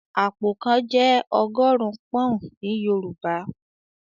"Àpò kan" Jẹ́ ọgọ́rùn-ún pọ́n-ọ̀n ní Yorùbá